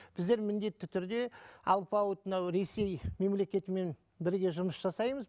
біздер міндетті түрде алпауыт мынау ресей мемлекетімен бірге жұмыс жасаймыз